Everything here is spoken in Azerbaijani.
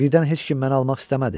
Birdən heç kim məni almaq istəmədi.